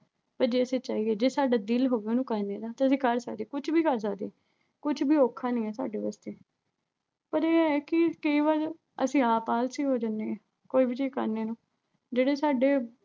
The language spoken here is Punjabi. ਪਰ ਜੇ ਅਸੀਂ ਚਾਹੀਏ। ਜੇ ਸਾਡਾ ਦਿਲ ਹੋਵੇ ਉਹਨੂੰ ਕਰਨੇ ਦਾ ਤਾਂ ਅਸੀਂ ਕਰ ਸਕਦੇ ਆਂ। ਕੁਛ ਵੀ ਕਰ ਸਕਦੇ ਆਂ। ਕੁਛ ਵੀ ਔਖਾ ਨਹੀਂ ਐ, ਸਾਡੇ ਵਾਸਤੇ। ਪਰ ਗੱਲ ਇਹ ਐ ਕਿ ਕਈ ਵਾਰ ਅਸੀਂ ਆਪ ਆਲਸੀ ਹੋ ਜਾਨੇ ਆਂ, ਕੋਈ ਵੀ ਚੀਜ਼ ਕਰਨੇ ਨੂੰ। ਜਿਹੜੇ ਸਾਡੇ।